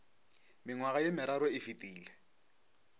mengwaga ye meraro e fetile